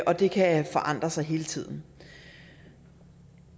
og det kan forandre sig hele tiden